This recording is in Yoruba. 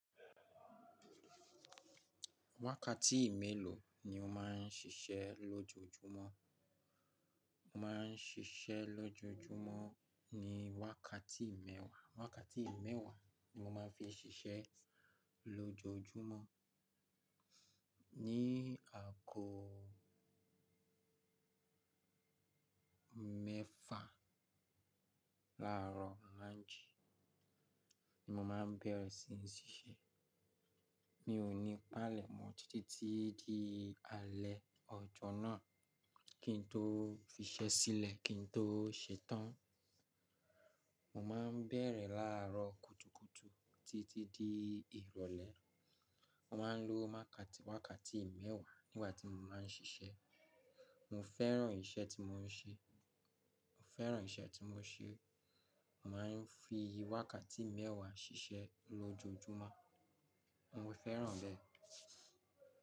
Wákàtí ì mélòó ni o má ń siṣẹ́ lójoójúmọ́? Mo má ń siṣẹ́ lójoójúmọ́ ní wákàtí mẹ́wàá. Wákàtí ì mẹ́wàá ni mo má ń fi siṣẹ́ lójoójúmọ́. Ni àkókò mẹ́fà láàrọ̀ láńjí ni mo má ń bẹ̀rẹ̀ sí ní ṣiṣẹ́. Mi ò ní palẹ̀ mọ́ títí di alẹ́ ọjọ́ náà kí n tó fi iṣẹ́ sílẹ̀ kí n tó ṣetán. Mo má ń bẹ̀rẹ̀ láàrọ̀ kùtùkùtù títí di ìrọ̀lẹ́. Mo má a ń lo wákàtí wákàtí ì mẹ́wàá nígbà tí mo má ń ṣiṣẹ́. Mo fẹ́ràn iṣẹ́ tí mo ń ṣe. Mo fẹ́ràn iṣẹ́ tí mo ń ṣe. Mo má ń fi wákàtí ì mẹ́wàá ṣiṣẹ́ lójoójúmọ́. Mo fẹ́ràn rẹ̀.